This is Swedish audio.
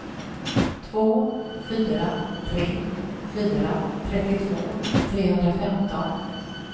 två fyra tre fyra trettiotvå trehundrafemton